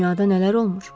Dünyada nələr olmur.